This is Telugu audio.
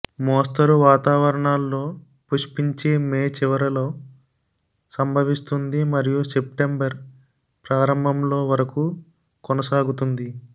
మోస్తరు వాతావరణాల్లో పుష్పించే మే చివరలో సంభవిస్తుంది మరియు సెప్టెంబర్ ప్రారంభంలో వరకు కొనసాగుతుంది